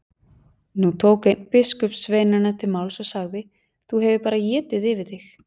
Nú tók einn biskupssveinanna til máls og sagði:-Þú hefur bara étið yfir þig.